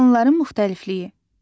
Canlıların müxtəlifliyi.